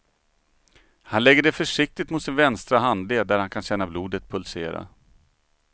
Han lägger det försiktigt mot sin vänstra handled där han kan känna blodet pulsera.